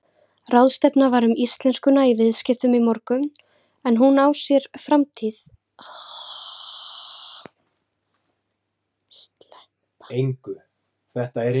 Ráðstefna var um íslenskuna í viðskiptum í morgun en á hún sér framtíð í viðskiptum?